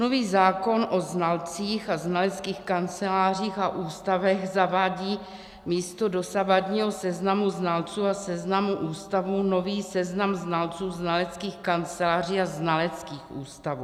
Nový zákon o znalcích a znaleckých kancelářích a ústavech zavádí místo dosavadního seznamu znalců a seznamu ústavů nový seznam znalců, znaleckých kanceláří a znaleckých ústavů.